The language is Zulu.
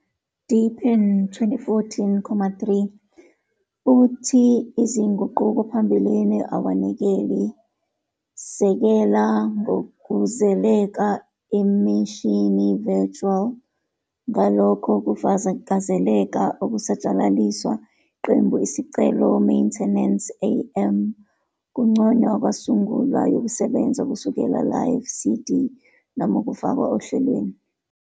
deepin 2014,3 futhi izinguqulo phambilini awanikeli sisekela ngokuzeleko imishini virtual, ngalokho, ukufakazela ukusatshalaliswa, iqembu Isicelo Maintenance, AM, Kunconywa kwasungulwa yokusebenza kusukela Live CD noma ukufakwa ohlelweni.